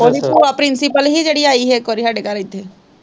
ਉਹਦੀ ਭੂਆ ਪ੍ਰਿੰਸੀਪਲ ਹੀ ਜਿਹੜੀ ਆਈ ਹੀ ਇੱਕ ਵਾਰੀ ਸਾਡੇ ਘਰੇ ਇੱਥੇ।